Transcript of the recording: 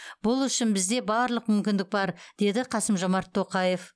бұл үшін бізде барлық мүмкіндік бар деді қасым жомарт тоқаев